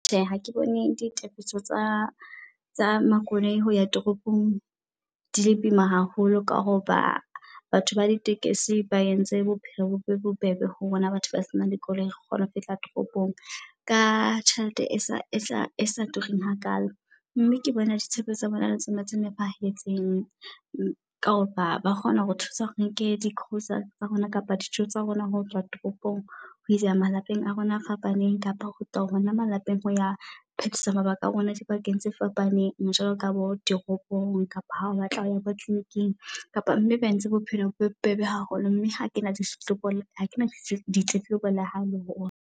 Tjhe ha ke bone ditefiso tsa tsa makoloi hoya toropong di le boima haholo. Ka hoba batho ba di tekesi ba entse bophelo be bobebe ho rona batho ba senang dikoloi, re kgone ho fihla toropong ka tjhelete e sa e sa tureng hakalo. Mme ke bona ditshebeletso tsa bona ele tsona tse nepahetseng ka hoba ba kgona hore thusa re nke di -grocery tsa rona. Kapa dijo tsa rona hoyswa tropong ho isa malapeng a rona a fapaneng, kapa ho kgutla hona malapeng ho ya phetisa mabaka a rona di bakeng tse fapaneng. Jwalo ka bo dit toropong kapa ha o batla hoya bo kliniking. Kapa mme ba entse bophelo bo bebe haholo, mme ha kena di hlokomele ha kena ditletlebo le hae le o .